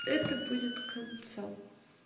это будет концом